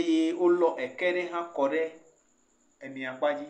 eye wolɔ eke ɖe hãa kɔ ɖe emia kpa dzi.